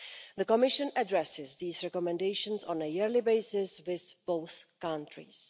The Commission addresses these recommendations on a yearly basis with both countries.